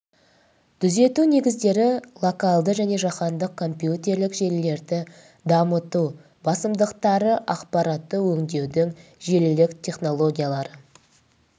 түзету негіздері локалды және жаһандық компьютерлік желілерді дамыту басымдықтары ақпаратты өңдеудің желілік технологиялары